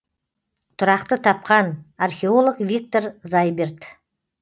тұрақты тапқан археолог виктор зайберт